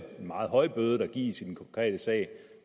meget høj bøde der gives i den konkrete sag